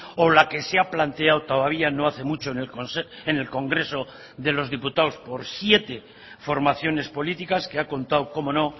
o la que se ha planteado todavía no hace mucho en el congreso de los diputados por siete formaciones políticas que ha contado cómo no